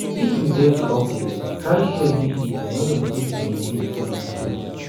if you get the update try share give pipo make dem fit benefit too too